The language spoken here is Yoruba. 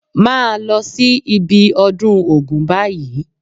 Máa lọ sí ibi ọdún Ògún báyìí